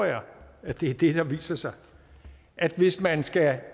at det er det der viser sig at hvis man skal